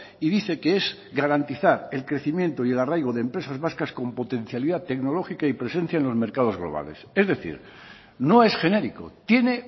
y dice que es garantizar el crecimiento y el arraigo de empresas vascas con potencialidad tecnológica y presencia en los mercados globales es decir no es genérico tiene